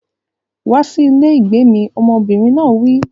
Wá sí ilé ìgbé mi! Ọmọbìnrin náà wí.